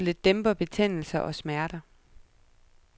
Midlet dæmper betændelser og smerter.